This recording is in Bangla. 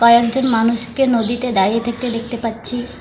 কয়েকজন মানুষকে নদীতে দাঁড়িয়ে থাকতে দেখতে পাচ্ছি।